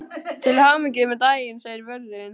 Til hamingju með daginn segir vörðurinn.